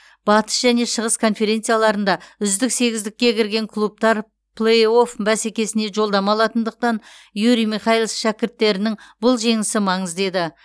батыс және шығыс конференцияларында үздік сегіздікке кірген клубтар плей офф бәсекесіне жолдама алатындықтан юрий михайлис шәкірттерінің бұл жеңісі маңызды еді